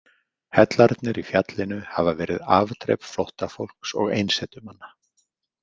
Hellarnir i fjallinu hafa verið afdrep flóttafólks og einsetumanna.